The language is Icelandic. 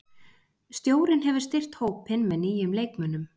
Stjórinn hefur styrkt hópinn með nýjum leikmönnum.